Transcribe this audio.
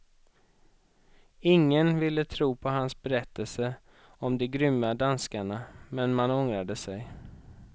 Ingen ville tro på hans berättelser om de grymma danskarna, men man ångrade sig.